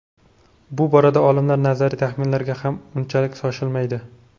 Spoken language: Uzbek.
Bu borada olimlar nazariy taxminlarga ham unchalik shoshilmaydi.